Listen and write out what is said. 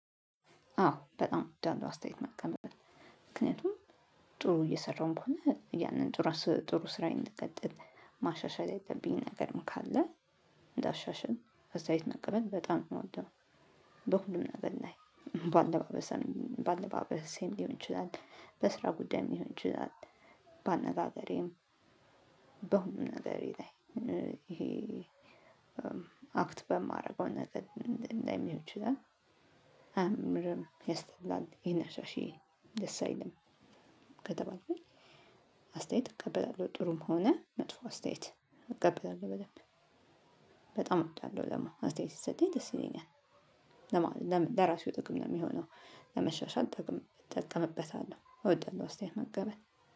አዎ በጣም እወዳለው አስተየት መቀበል ምክንያቱም ጥሩ እየሰራሁም ከሆነ ያንን ጥሩ ስራዬን እንድቀጥል ማሻሻል ያለብኝም ነገርም ካለ እንዳሻሽል አስተየት መቀበል በጣም የምወደው። በሁሉም ነገር ላይ በአለባበስም በአለባበሴም ሊሆን ይችላል በስራ ጉዳይም ሊሆን ይችላል። በአነጋገሬም በሁሉም ነገሬ ላይ ይሄ አክት በማደርገው ነገር ላይም ሊሆን ይችላል። አያምርም ያስጠላል ይሄን አሻሽዪ ደስ አይልም። ከተባልኩኝ። አስተያየት እቀበላለሁ ጥሩም ሆነ መጥፎ አስተያየት እቀበላለሁ። በደንብ በጣም እወዳለሁ ደግሞ አስተየት ስሰጠኝ ደስ ይለኛል። ለራሴው ጥቅም ነው የሚሆነው። ለመሻሻል እጠቀምበታለሁ እወደዋለሁ እስታየት መቀበል